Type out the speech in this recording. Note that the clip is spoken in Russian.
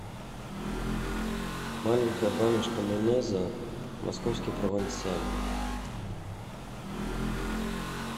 маленькая баночка майонеза московский провансаль